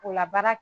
Kola baara